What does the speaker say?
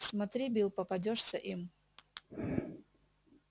смотри билл попадёшься им